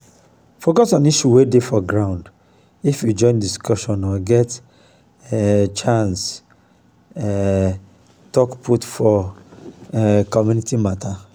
focus on issue wey dey for ground if you join discussion or get um chance to um talk put for um community matter